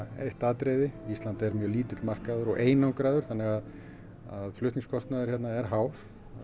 eitt atriði Ísland er mjög lítill markaður og einangraður þannig að flutningskostnaður er hár